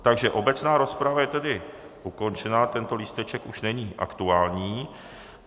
Takže obecná rozprava je tedy ukončena, tento lísteček už není aktuální.